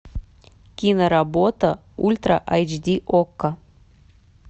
киноработа ультра айч ди окко